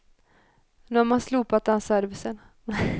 Nu har man slopat den servicen.